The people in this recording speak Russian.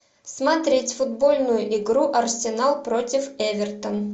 смотреть футбольную игру арсенал против эвертон